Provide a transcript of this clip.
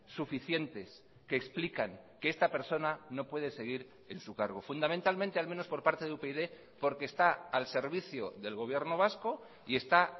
suficientes que explican que esta persona no puede seguir en su cargo fundamentalmente al menos por parte de upyd porque está al servicio del gobierno vasco y está